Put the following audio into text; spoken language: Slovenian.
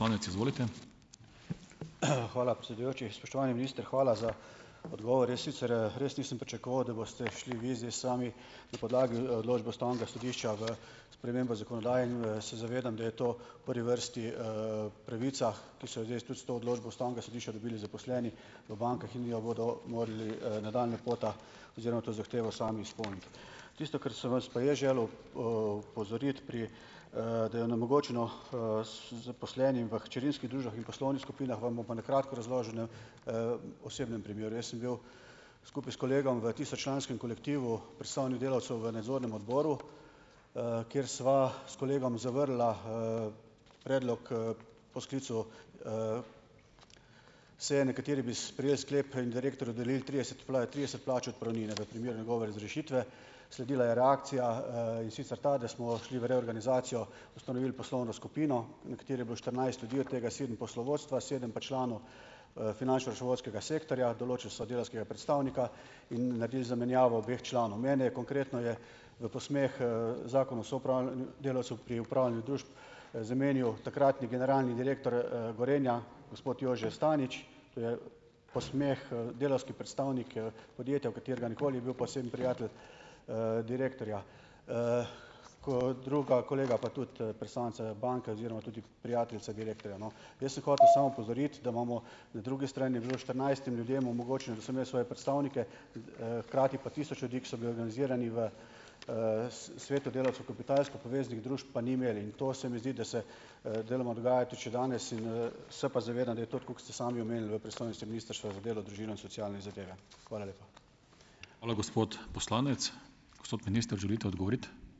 Hvala, predsedujoči. Spoštovani minister, hvala za odgovor. Jaz sicer, res nisem pričakoval, da boste šli vi zdaj sami, na podlagi odločbe ustavnega sodišča, v spremembo zakonodaje in v se zavedam, da je to v prvi vrsti, pravica, ki so jo zdaj tudi s to odločbo ustavnega sodišča dobili zaposleni v bankah in jo bodo morali nadaljnja pota oziroma to zahtevo sami izpolniti. Tisto, kar sem vas pa jaz želel, opozoriti pri, da je onemogočeno, zaposlenim v hčerinskih družbah in poslovnih skupinah, vam bom pa na kratko razložil na, osebnem primeru. Jaz sem bil skupaj s kolegom v tisoč članskem kolektivu predstavnik delavcev v nadzornem odboru, kjer sva s kolegom zavrnila, predlog, po sklicu, seje, na kateri bi sprejeli sklep in direktorju dodelili trideset trideset plač odpravnine, za primer njegove razrešitve. Sledila je reakcija, in sicer ta, da smo šli v reorganizacijo, ustanovili poslovno skupino, v kateri je bilo štirinajst ljudi, od tega sedem poslovodstva, sedem pa članov, finančno-računovodskega sektorja. Določili so delavskega predstavnika in naredili zamenjavo obeh članov. Mene je, konkretno je, v posmeh, Zakon o soupravljanju delavcev pri upravljanju družb, zamenjal takratni generalni direktor, Gorenja, gospod Jože Stanič. To je v posmeh, delavski predstavnik, podjetja, v katerega nikoli ni bil poseben prijatelj, direktorja. Kot druga, kolega pa tudi, predstavnica banke oziroma tudi prijateljica direktorja, no. Jaz sem hotel samo opozoriti, da imamo, na drugi strani je bilo štirinajstim ljudem omogočeno, da so imeli svoje predstavnike, hkrati pa tisoč ljudi, ki so bili organizirani v, svetu delavcev kapitalsko povezanih družb, pa ni imelo in to se mi zdi, da se, deloma dogaja tudi še danes in, se pa zavedam, da je to tako, kot ste sami omenili, v pristojnosti Ministrstva za delo, družino in socialne zadeve. Hvala lepa.